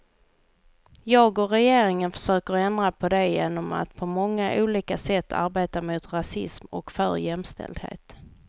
Jag och regeringen försöker ändra på det genom att på många olika sätt arbeta mot rasism och för jämställdhet.